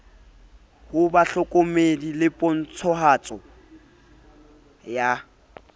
ho bahlokomedi le pontshahatso ya